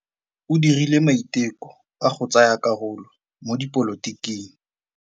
O dirile maitekô a go tsaya karolo mo dipolotiking.